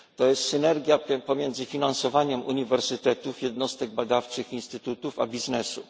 To jest synergia tym pomiędzy finansowaniem uniwersytetów, jednostek badawczych i instytutów a biznesem.